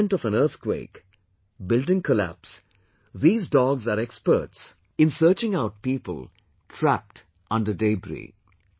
In the event of an earthquake, building collapse, these dogs are experts in searching out people trapped under debris